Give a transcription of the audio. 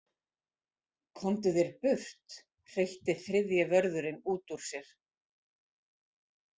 Komdu þér burt, hreytti þriðji vörðurinn út úr sér.